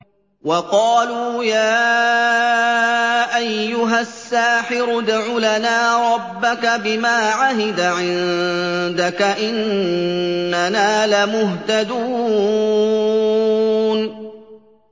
وَقَالُوا يَا أَيُّهَ السَّاحِرُ ادْعُ لَنَا رَبَّكَ بِمَا عَهِدَ عِندَكَ إِنَّنَا لَمُهْتَدُونَ